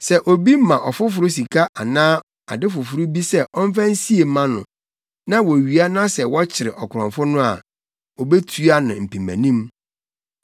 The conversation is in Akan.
“Sɛ obi ma ɔfoforo sika anaa ade foforo bi sɛ ɔmfa nsie mma no na wowia na sɛ wɔkyere ɔkorɔmfo no a, obetua ne mpemanim.